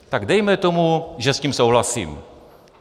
Tak dejme tomu, že s tím souhlasím.